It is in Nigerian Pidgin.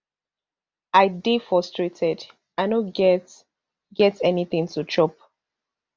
i dey fraustrated i no get get anytin to chop